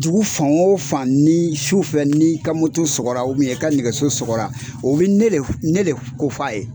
Dugu fan o fan ni su fɛ n'i ka sɔgɔra i ka nɛgɛso sɔgɔra o bɛ ne le ne le ko f'a ye.